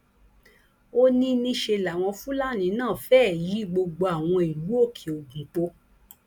ó ní níṣẹ làwọn fúlàní náà fẹẹ yìí gbogbo àwọn ìlú òkèogun pọ